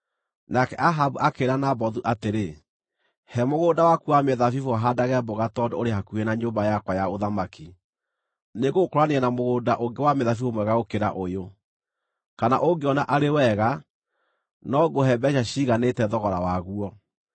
Nake Ahabu akĩĩra Nabothu atĩrĩ, “He mũgũnda waku wa mĩthabibũ haandage mboga, tondũ ũrĩ hakuhĩ na nyũmba yakwa ya ũthamaki. Nĩngũgũkũũranĩria na mũgũnda ũngĩ wa mĩthabibũ mwega gũkĩra ũyũ, kana ũngĩona arĩ wega, no ngũhe mbeeca ciiganĩte thogora waguo.”